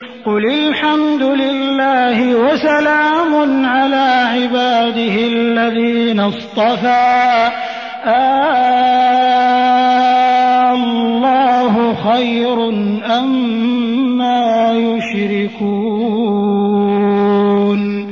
قُلِ الْحَمْدُ لِلَّهِ وَسَلَامٌ عَلَىٰ عِبَادِهِ الَّذِينَ اصْطَفَىٰ ۗ آللَّهُ خَيْرٌ أَمَّا يُشْرِكُونَ